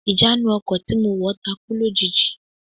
Ìjánu ọkọ̀ tí mo wọ̀ takú lójijì